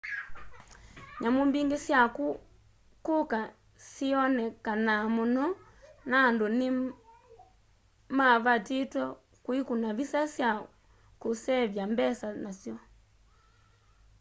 nyamu mbingi sya kuka syiyonekanaa muno na andu ni mavatitwe kuikuna visa sya kusevya mbesa nasyo